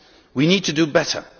We need to do better.